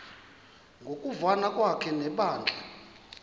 ngokuvana kwakhe nebandla